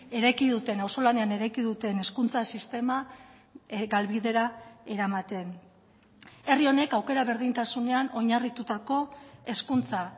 eraiki duten auzolanean eraiki duten hezkuntza sistema galbidera eramaten herri honek aukera berdintasunean oinarritutako hezkuntza